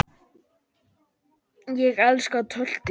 Ég elska töltið.